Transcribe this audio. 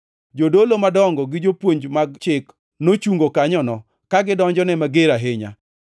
Jodolo madongo gi jopuonj mag chik nochungo kanyono, ka gidonjone mager ahinya.